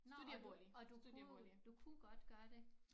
Nå og du og du boede du kunne godt gøre det